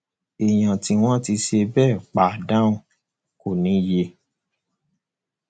èèyàn tí wọn ti ṣe bẹẹ pa dànù kò níye